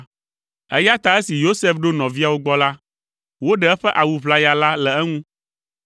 Eya ta esi Yosef ɖo nɔviawo gbɔ la, woɖe eƒe awu ʋlaya la le eŋu,